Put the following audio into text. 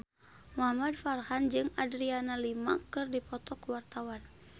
Muhamad Farhan jeung Adriana Lima keur dipoto ku wartawan